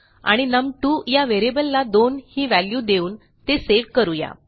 आणि num2या व्हेरिएबलला 2 ही वॅल्यू देऊन ते सेव्ह करू या